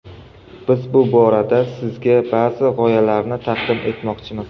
Biz bu borada sizga ba’zi g‘oyalarni taqdim etmoqchimiz.